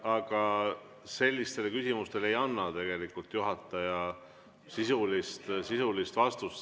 Aga sellistele küsimustele ei anna tegelikult juhataja sisulist vastust.